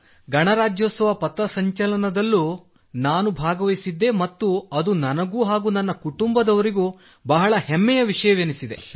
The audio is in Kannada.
ಗಣರಾಜ್ಯೋತ್ಸವ ಪಥ ಸಂಚಲನದಲ್ಲೂ ನಾನು ಭಾಗವಹಿಸಿದ್ದೆ ಮತ್ತು ಅದು ನನಗೂ ಹಾಗೂ ನನ್ನ ಕುಟುಂಬದವರಿಗೂ ಬಹಳ ಹೆಮ್ಮೆಯ ವಿಷಯವೆನಿಸಿದೆ